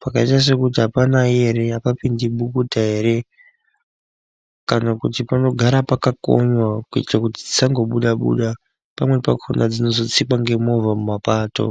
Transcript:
Pakaita sekuti hapanayi ere hapapindi bukuta ere kana kuti panogara pakakonywa kuitira kuti dzisangobuda buda. Pamweni pakona dzinozotsikwa ngemovha mumapato.